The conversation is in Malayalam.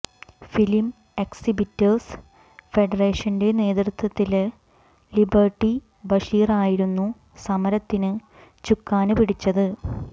ഫിലിം എക്സിബിറ്റേഴ്സ് ഫെഡറേഷന്റെ നേതൃത്വത്തില് ലിബര്ട്ടി ബഷീറായിരുന്നു സമരത്തിന് ചുക്കാന് പിടിച്ചത്